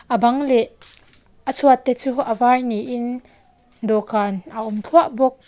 a bang leh a chhuat te chu a var niin dawhkan a awm thluah bawk.